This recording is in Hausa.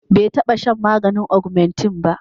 bai taba shan maganin ogmentin ba